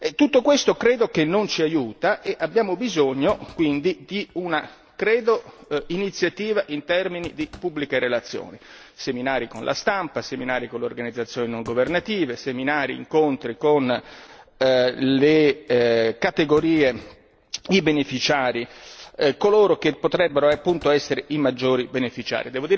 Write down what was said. tutto questo credo che non ci aiuta e abbiamo bisogno quindi, credo, di un'iniziativa in termini di pubbliche relazioni, seminari con la stampa, seminari con le organizzazioni non governative, seminari e incontri con le categorie di beneficiari, coloro che potrebbero appunto essere i maggiori beneficiari.